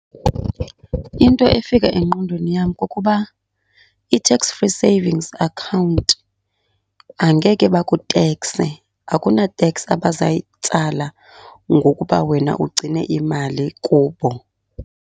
Into efika engqondweni yam kukuba i-tax free savings account angeke bakutekse, akuna teksi abazayitsala ngokuba wena ugcine imali kubo.